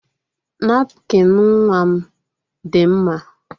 Napkịn nwa m dị mmiri.